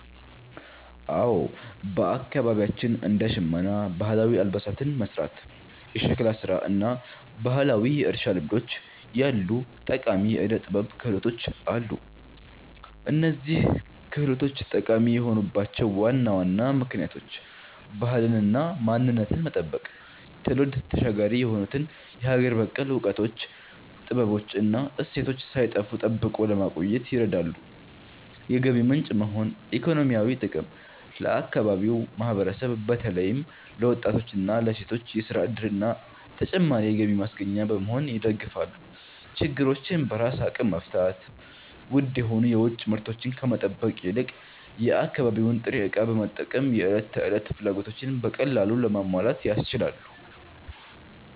አዎ፣ በአካባቢያችን እንደ ሸመና (ባህላዊ አልባሳትን መሥራት)፣ የሸክላ ሥራ እና ባህላዊ የእርሻ ልምዶች ያሉ ጠቃሚ የዕደ-ጥበብ ክህሎቶች አሉ። እነዚህ ክህሎቶች ጠቃሚ የሆኑባቸው ዋና ዋና ምክንያቶች፦ ባህልንና ማንነትን መጠበቅ፦ ትውልድ ተሻጋሪ የሆኑትን የሀገር በቀል እውቀቶች፣ ጥበቦች እና እሴቶች ሳይጠፉ ጠብቆ ለማቆየት ይረዳሉ። የገቢ ምንጭ መሆን (ኢኮኖሚያዊ ጥቅም)፦ ለአካባቢው ማህበረሰብ በተለይም ለወጣቶችና ለሴቶች የሥራ ዕድልና ተጨማሪ የገቢ ማስገኛ በመሆን ይደግፋሉ። ችግሮችን በራስ አቅም መፍታት፦ ውድ የሆኑ የውጭ ምርቶችን ከመጠበቅ ይልቅ የአካባቢውን ጥሬ ዕቃ በመጠቀም የዕለት ተዕለት ፍላጎቶችን በቀላሉ ለማሟላት ያስችላሉ።